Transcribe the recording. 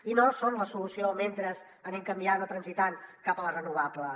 i no són la solució mentre anem canviant o transitant cap a les renovables